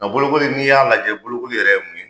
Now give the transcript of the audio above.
Nga bolokoli n'i y'a lajɛ bolokoli yɛrɛ ye mun ye